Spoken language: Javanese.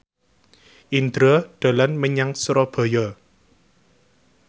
Indro dolan menyang Surabaya